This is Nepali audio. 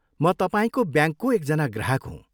म तपाईँको ब्याङ्कको एकजना ग्राहक हुँ।